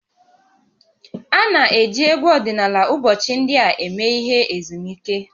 A na-eji egwu ọdịnala ụbọchị ndị a eme ihe ezumike